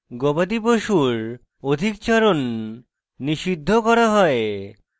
গবাদি পশুর অধিক চারণ নিষিদ্ধ করা হয়